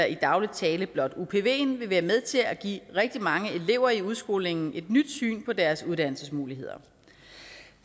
i daglig tale blot upven vil være med til at give rigtig mange elever i udskolingen et nyt syn på deres uddannelsesmuligheder